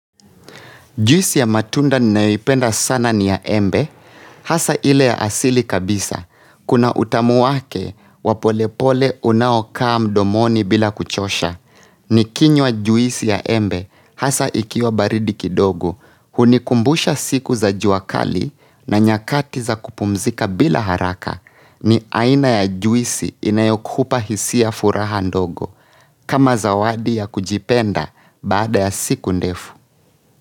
Juisi ya matunda ninayoipenda sana ni ya embe, hasa ile ya asili kabisa, kuna utamu wake wa polepole unaokaa mdomoni bila kuchosha. Nikinywa juisi ya embe, hasa ikiwa baridi kidogo, hunikumbusha siku za jua kali na nyakati za kupumzika bila haraka, ni aina ya juisi inayokupa hisia furaha ndogo, kama zawadi ya kujipenda baada ya siku ndefu.